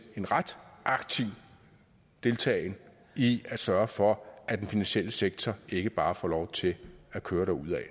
en ret aktiv deltagen i at sørge for at den finansielle sektor ikke bare får lov til at køre derudad